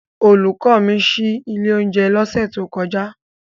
Olùkọ́ mi ṣí ilé oúnjẹ lọ́sẹ̀ tó kọjá.